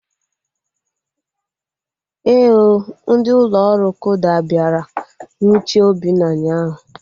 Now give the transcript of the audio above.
Éè ooo, ndị ụlọ ọrụ kuda bịara nwuchie Obinna ụnyaahụ